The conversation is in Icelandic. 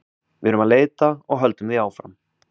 Við erum að leita og höldum því áfram.